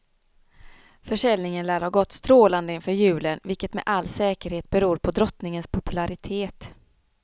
Fösäljningen lär ha gått stålande inför julen, vilket med all säkerhet beor på dottningens populaitet.